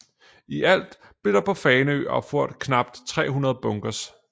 I alt blev der på Fanø opført knap 300 bunkers